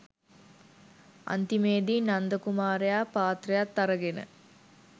අන්තිමේදී නන්ද කුමාරයා පාත්‍රයත් අරගෙන